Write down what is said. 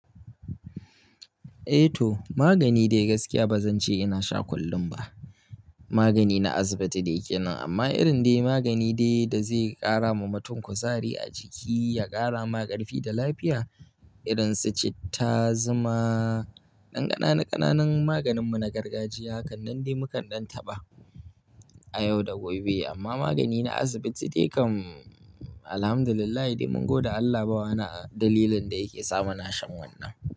Eh to, magani dai gaskiya ba zan ce ina sha kullum ba. Magani na asibiti dai ke nan amma irin dai magani dai da zai ƙara ma mutum kuzari a jiki, ya ƙara ma ƙarfi da lafiya irin su citta, zuma, ɗan ƙananan ƙananan maganin mu na gargajiya hakan nan dai mukan ɗan taɓa a yau da gobe. Amma magani na asibiti dai kam Alhamdulillahi dai mun gode Allah ba wani dalilin da yake sa muna shan wannan.